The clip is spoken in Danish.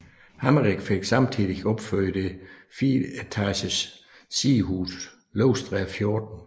Hammerich fik samtidig opført det fireetages sidehus Løvstræde 14